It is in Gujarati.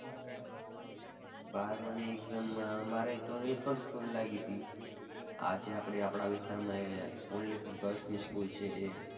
બારમાંની exam માં મારે તો નીલકંઠ school લાગી તી આ જે આપણી આપણા વિસ્તારમાં only for girls ની school છે એ.